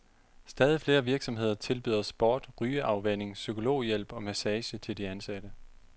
Stadig flere virksomheder tilbyder sport, rygeafvænning, psykologhjælp og massage til de ansatte.